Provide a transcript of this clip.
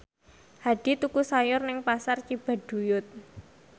Hadi tuku sayur nang Pasar Cibaduyut